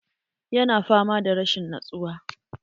Ya na fama da rashin nutsuwa